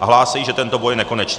a hlásají, že tento boj je nekonečný.